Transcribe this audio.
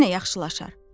Yenə yaxşılaşar.